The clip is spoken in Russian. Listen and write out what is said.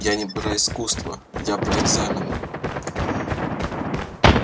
я не про искусство я про экзамены